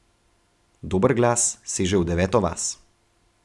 Dober glas seže v deveto vas.